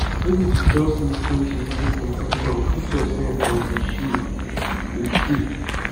no be to just lis ten to wetin pesin talk put yourself for em shoe em shoe